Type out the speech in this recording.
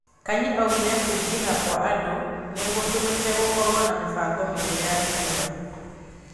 Kanyi augire kũĩngiha kwa andũ nĩgũtũmĩte gũkorwo na mĩbango mĩeru ya itũra.